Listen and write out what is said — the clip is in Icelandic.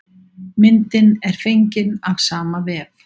Myndin er fengin af sama vef.